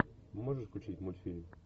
можешь включить мультфильм